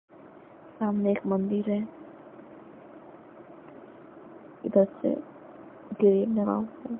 सामने एक मंदिर है इधर से --